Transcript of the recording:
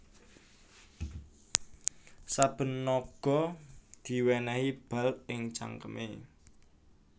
Saben naga diwènèhi bal ing cangkemé